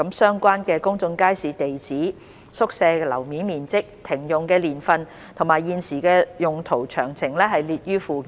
相關公眾街市的地址、宿舍樓面面積、停用年份和現時的用途詳情列於附件。